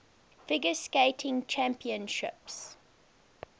figure skating championships